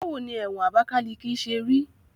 Báwo ni ẹ̀wọ̀n Abakaliki ṣe rí?